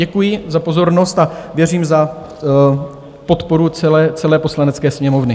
Děkuji za pozornost a věřím v podporu celé Poslanecké sněmovny.